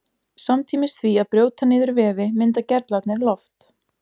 samtímis því að brjóta niður vefi mynda gerlarnir loft